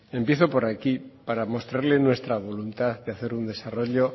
empiezo por aquí para mostrarle nuestra voluntad de hacer un desarrollo